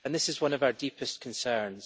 This is one of our deepest concerns.